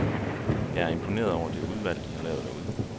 Jeg er imponeret over det udvalg, de har lavet derude.